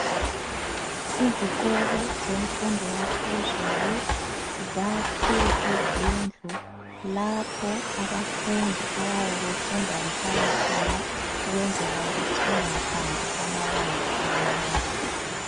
Izikolo zemfundo yaphezulu zakhe izindlu lapho abafundi abayabe befunda behlala khona ukwenzela ukuthi bangahambi amabanga amade